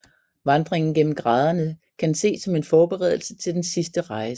Vandringen gennem graderne kan ses som en forberedelse til den sidste rejse